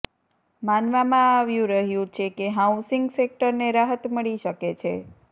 માનવામાં આવ્યું રહ્યું છે કે હાઉસિંગ સેક્ટરને રાહત મળી શકે છે